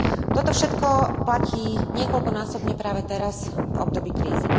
Toto všetko platí niekoľkonásobne práve teraz v období krízy.